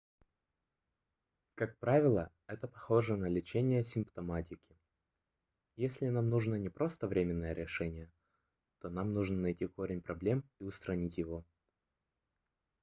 как правило это похоже на лечение симптоматики если нам нужно не просто временное решение то нам нужно найти корень проблем и устранить его